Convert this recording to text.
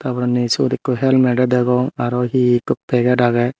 tar porendi sot ekku helmedo degong aro he ekku peget agey.